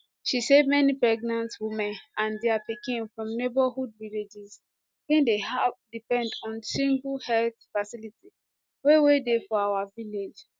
she say many pregnant women and dia pikins from neighbourhood villages bin dey depend on single health facility wey wey dey for our village